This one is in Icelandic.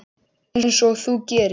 Einsog þú gerir?